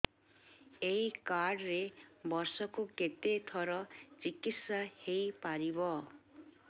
ଏଇ କାର୍ଡ ରେ ବର୍ଷକୁ କେତେ ଥର ଚିକିତ୍ସା ହେଇପାରିବ